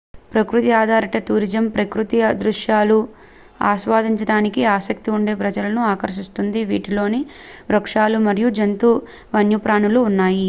ప్రకృతి ఆధారిత టూరిజం ప్రకృతి దృశ్యాలను ఆస్వాదించడానికి ఆసక్తిగా ఉండే ప్రజలను ఆకర్షిస్తుంది వీటిలో వృక్షాలు మరియు జంతు వన్యప్రాణులు ఉన్నాయి